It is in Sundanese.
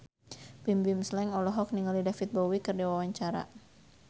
Bimbim Slank olohok ningali David Bowie keur diwawancara